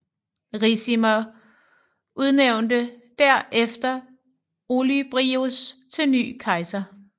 Ricimer udnævnte der efter Olybrius til ny kejser